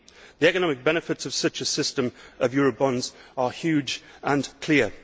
The economic benefits of such a system of eurobonds are huge and clear.